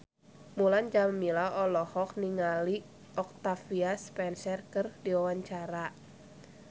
Mulan Jameela olohok ningali Octavia Spencer keur diwawancara